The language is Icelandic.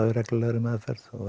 í reglulegri meðferð og